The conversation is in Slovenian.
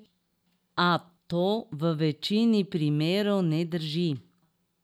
A to v večini primerov ne drži.